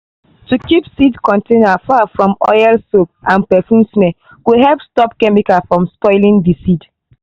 to keep seed container far from oil soap and perfume smell go help stop chemical from spoiling the seed.